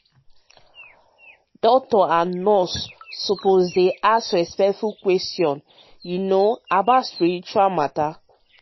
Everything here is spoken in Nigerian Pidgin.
ah doctors and nurses suppose dey ask respectful questions you know about spiritual matter.